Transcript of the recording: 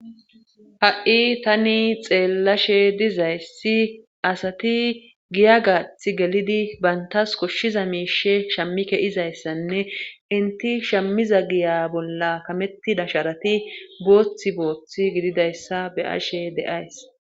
Ha'i tani xeellashe dizayssi asati giya gaath gelidi bayntas koshshiza miishe shammike izayssanne inti shammiza giya bolla kametti dasharati goothi booththi gididayssa be ashe deays